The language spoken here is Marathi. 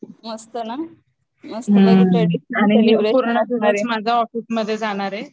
मस्त ना